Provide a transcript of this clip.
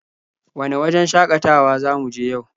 Wane wajen shakatawa za mu je yau?